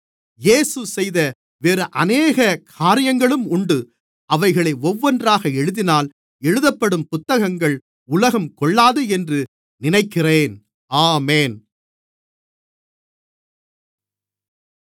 இயேசு செய்த வேறு அநேக காரியங்களும் உண்டு அவைகளை ஒவ்வொன்றாக எழுதினால் எழுதப்படும் புத்தகங்கள் உலகம் கொள்ளாது என்று நினைக்கிறேன் ஆமென்